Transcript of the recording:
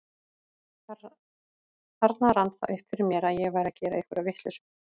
Þarna rann það upp fyrir mér að ég væri að gera einhverja vitleysu.